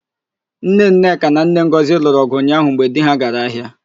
Nne Nneka na nne Ngọzị lụrụ ọ̀gụ̀ ụnyaahụ mgbe di ha gara ahịa.